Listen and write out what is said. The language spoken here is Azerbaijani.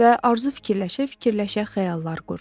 Və arzu fikirləşə-fikirləşə xəyallar qurdu.